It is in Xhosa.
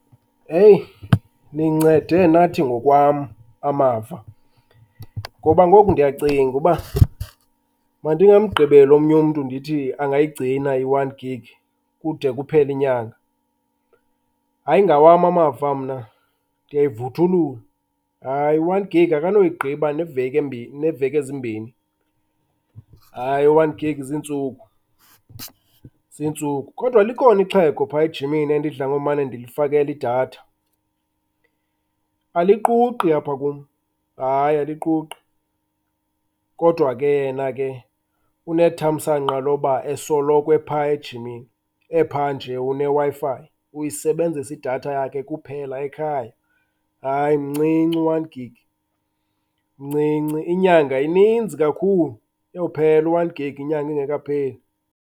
Eyi nincede nathi ngokwam amava ngoba ngoku ndiyacinga uba mandingamgqibeli omnye umntu ndithi angayigcina i-one gig kude kuphele inyanga. Hayi ngawam amava mna ndiyayivuthulula, hayi u-one gig akanoyigqiba neeveki ezimbini. Hayi u-one gig ziintsuku, ziintsuku. Kodwa likhona ixhego phaya ejimini endidla ngomane ndilifakela idatha, aliquqi apha kum, hayi aliquqi. Kodwa ke yena ke unethamsanqa loba esoloko ephaya ejimini, epha nje uneWi-Fi, uyisebenzisa idatha yakhe kuphela ekhaya. Hayi mncinci u-one gig, mncinci. Inyanga ininzi kakhulu, uyophela u-one gig inyanga ingekapheli.